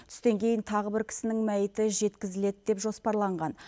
түстен кейін тағы бір кісінің мәйіті жеткізіледі деп жоспарланған